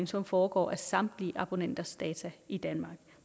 som foregår af samtlige abonnenters data i danmark